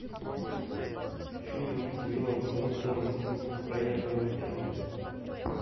фильм с уиллом смитом про инопланетян